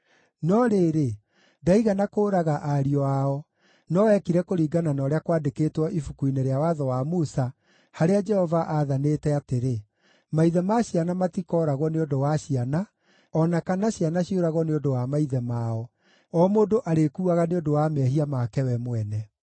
No rĩrĩ, ndaigana kũũraga ariũ ao, no eekire kũringana na ũrĩa kwandĩkĩtwo Ibuku-inĩ rĩa Watho wa Musa, harĩa Jehova aathanĩte atĩrĩ: “Maithe ma ciana matikooragwo nĩ ũndũ wa ciana, o na kana ciana ciũragwo nĩ ũndũ wa maithe mao; o mũndũ arĩkuaga nĩ ũndũ wa mehia make we mwene.”